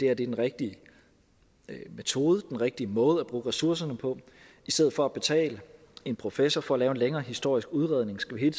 er den rigtige metode den rigtige måde at bruge ressourcerne på i stedet for at betale en professor for at lave en længere historisk udredning skal vi